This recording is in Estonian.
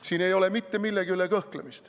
Siin ei ole mitte millegi üle kõhklemist.